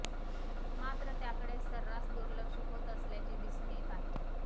मात्र त्याकडे सर्रास दुर्लक्ष होत असल्याचे दिसून येत आहे